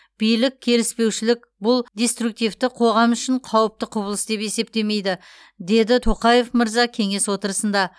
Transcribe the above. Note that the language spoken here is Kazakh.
билік келіспеушілік бұл деструктивті қоғам үшін қауіпті құбылыс деп есептемейді деді тоқаев мырза кеңес отырысында